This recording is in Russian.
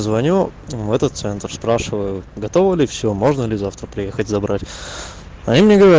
звоню в этот центр спрашиваю готово или все можно ли завтра приехать забрать они мне говорят